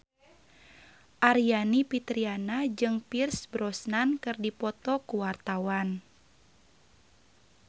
Aryani Fitriana jeung Pierce Brosnan keur dipoto ku wartawan